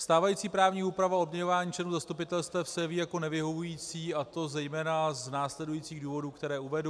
Stávající právní úprava odměňování členů zastupitelstev se jeví jako nevyhovující, a to zejména z následujících důvodů, které uvedu.